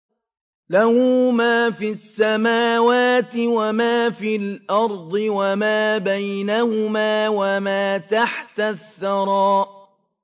لَهُ مَا فِي السَّمَاوَاتِ وَمَا فِي الْأَرْضِ وَمَا بَيْنَهُمَا وَمَا تَحْتَ الثَّرَىٰ